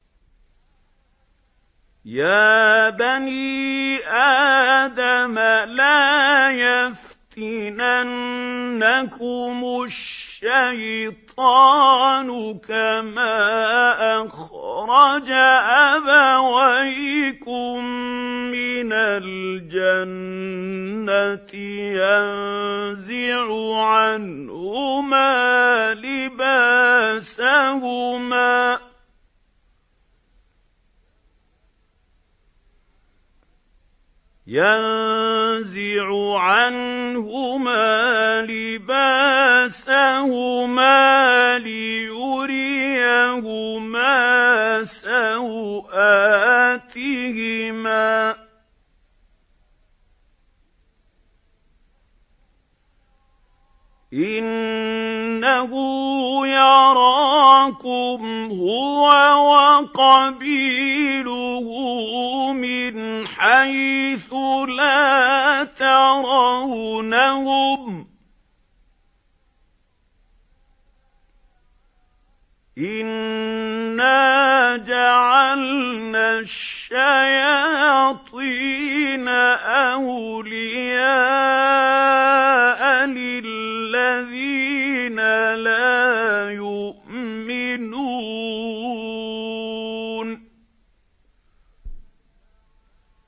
يَا بَنِي آدَمَ لَا يَفْتِنَنَّكُمُ الشَّيْطَانُ كَمَا أَخْرَجَ أَبَوَيْكُم مِّنَ الْجَنَّةِ يَنزِعُ عَنْهُمَا لِبَاسَهُمَا لِيُرِيَهُمَا سَوْآتِهِمَا ۗ إِنَّهُ يَرَاكُمْ هُوَ وَقَبِيلُهُ مِنْ حَيْثُ لَا تَرَوْنَهُمْ ۗ إِنَّا جَعَلْنَا الشَّيَاطِينَ أَوْلِيَاءَ لِلَّذِينَ لَا يُؤْمِنُونَ